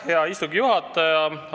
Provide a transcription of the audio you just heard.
Hea istungi juhataja!